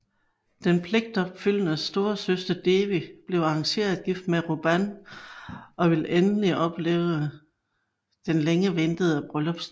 Den pligtopfyldende storesøster Devi bliver arrangeret gift med Ruban og vil endelig opleve den længe ventede bryllupsnat